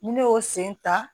Ni ne y'o sen ta